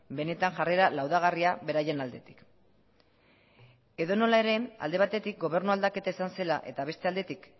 benetan jarrera laudagarria beraien aldetik edo nola ere alde batetik gobernu aldaketa izan zela eta beste aldetik